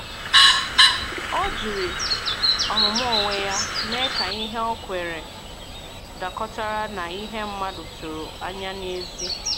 Ọ jiri ọmụmụ onwe ya mee ka ihe ọ kweere dakọtara na ihe mmadụ tụrụ anya n’èzí.